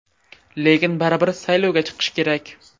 Lekin baribir saylovga chiqish kerak.